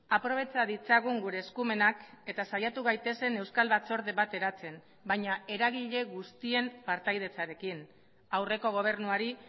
aprobetxa ditzagun gure eskumenak eta saiatu gaitezen euskal batzorde bat eratzen baina eragile guztien partaidetzarekin aurreko gobernuari